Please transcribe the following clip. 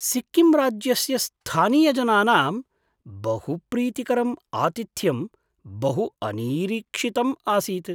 सिक्किम् राज्यस्य स्थानीयजनानां बहुप्रीतिकरम् आतिथ्यम् बहु अनिरीक्षितम् आसीत्।